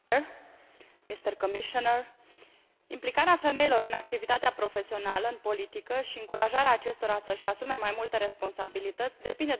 Implicarea femeilor în activitatea profesională, în politică și încurajarea acestora să își asume mai multe responsabilități depinde de existența facilităților de îngrijire a copiilor.